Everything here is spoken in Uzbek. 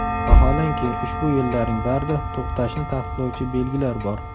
Vaholanki, ushbu yo‘llarning barida to‘xtashni taqiqlovchi belgilar bor.